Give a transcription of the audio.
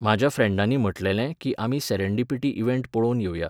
म्हाज्या फ्रँडांनी म्हटलेलें कीं आमी सॅरॅण्डिपिटी इवँट पळोवन येवया.